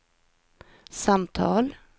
samtal